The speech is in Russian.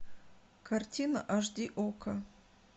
картина аш ди окко